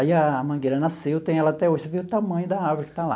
Aí a mangueira nasceu, tenho ela até hoje, você vê o tamanho da árvore que está lá.